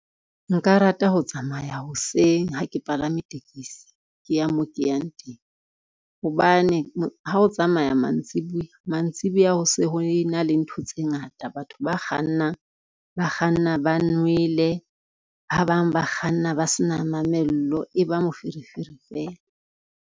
Nka rata ho tsamaya hoseng ha ke palame tekesi, ke ya mo ke yang teng, hobane ha o tsamaya mantsibuya, mantsibuya ho se ho e na le ntho tse ngata. Batho ba kgannang, ba kganna ba nwele, ba bang ba kganna ba se na mamello, e ba moferefere fela.